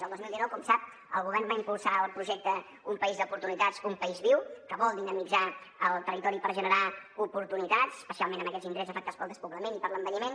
el dos mil dinou com sap el govern va impulsar el projecte un país d’oportunitats un país viu que vol dinamitzar el territori per generar oportunitats especialment en aquests indrets afectats pel despoblament i per l’envelliment